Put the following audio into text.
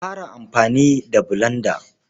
A fara amfani da bulanda.